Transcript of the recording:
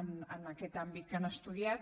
amb aquest àmbit que han estudiat